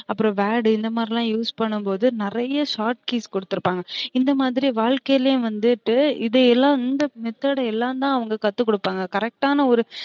அப்றோம் word இந்த மாரிலாம் use பண்ணும்போது நிறைய short keys குடுத்திருப்பாங்க இந்த மாதிரி வழ்க்கைலயும் வந்துட்டு இதெல்லம் இந்த method எல்லாம் தான் அவுங்க கத்து குடுப்பாங்க correct ஆன ஒரு